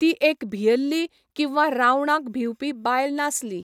ती एक भियल्ली किंवा रावणाक भिंवपी बायल नासली.